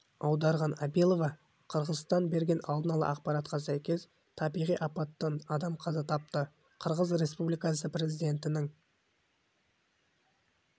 аударған абилова қырғызстан берген алдын ала ақпаратқа сәйкес табиғи апаттан адам қаза тапты қырғыз республикасы президентінің